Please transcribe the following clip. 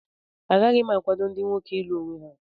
Agaghị m akwado ndị nwoke ịlụ onwe ha